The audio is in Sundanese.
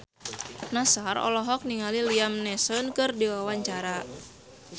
Nassar olohok ningali Liam Neeson keur diwawancara